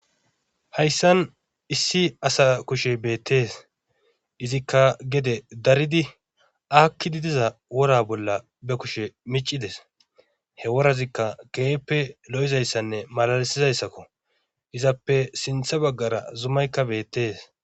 hayssan issi asa kushe beettees izikka gede daridi akkidi diza wora bolla be kushe micides he worazikka kehippe lo'izayssanne malalisizayssakko izappe sintha baggara zumaykka beettees